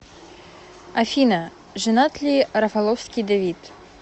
афина женат ли рафаловский давид